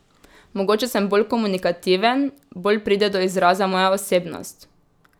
Mogoče sem bolj komunikativen, bolj pride do izraza moja osebnost.